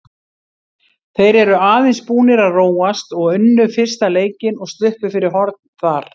Þeir eru aðeins búnir að róast og unnu fyrsta leikinn og sluppu fyrir horn þar.